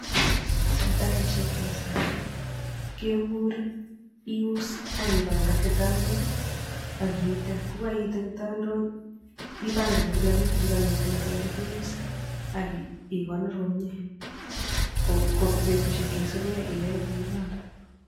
Sipitalishek chepo kasari kekurin ius ak ipangan kitandok ak iite, yekoiite kitandok ipangan kila kitu chekomiten yoton ole keuse ak ikonor komie ko betushek cheisipi iyoe kou noton.